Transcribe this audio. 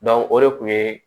o de kun yee